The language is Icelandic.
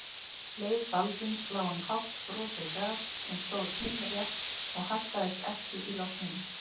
Leið Baldvins lá um hátt frosið gras sem stóð teinrétt og haggaðist ekki í logninu.